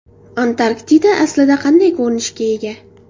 Antarktida aslida qanday ko‘rinishga ega?.